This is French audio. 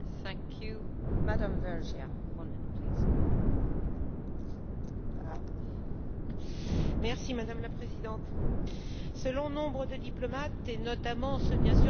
Madame la Présidente, selon nombre de diplomates et, notamment ceux, bien sûr, des pays qui ont des bases militaires et ils sont de plus en plus nombreux Djibouti serait une ancre de stabilité.